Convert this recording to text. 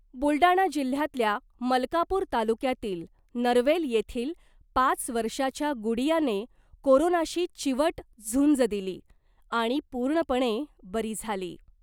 बुलडाणा जिल्ह्यातल्या मलकापूर तालुक्यातील नरवेल येथील पाच वर्षाच्या गुडीया ' ने कोरोनाशी चिवट झुंज दिली आणि पूर्णपणे बरी झाली .